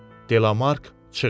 Delamark çığırdı.